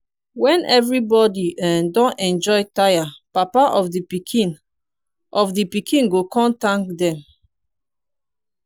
wen evribody um don enjoy tire papa of di pikin of di pikin go kon tank dem